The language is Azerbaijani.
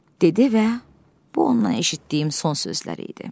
dedi və bu ondan eşitdiyim son sözlər idi.